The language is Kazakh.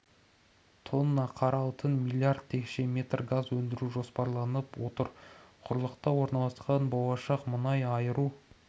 тонна қара алтын млрд текше метр газ өндіру жоспарланып отыр құрлықта орналасқан болашақ мұнай айыру